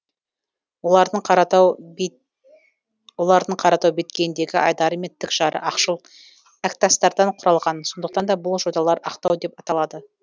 олардың қаратау беткейіндегі айдары мен тік жары ақшыл әктастардан құралған сондықтан да бұл жоталар ақтау деп аталады